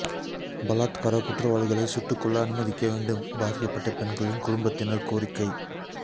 பலாத்கார குற்றவாளிகளை சுட்டுக் கொல்ல அனுமதிக்க வேண்டும் பாதிக்கப்பட்ட பெண்களின் குடும்பத்தினர் கோரிக்கை